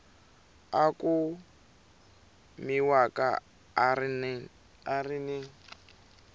a kumiwaka a ri ni